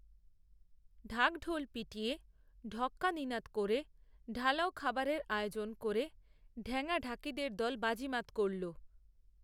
ঢাক ঢোল পিটিয়ে ঢক্কানিনাদ করে ঢালাও খাবারের আয়োজন করে ঢ্যাঙা ঢাকিদের দল বাজিমাত করল